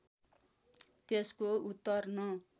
त्यसको उत्तर न